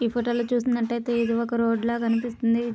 ఈ ఫోటో లో చూసినట్లయితేఇది ఒక రోడ్ ల కనిపిస్తుంది.